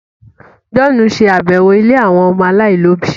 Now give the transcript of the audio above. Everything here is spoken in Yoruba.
John n ṣe àbẹwò ílé àwọn ọmọ alailòbí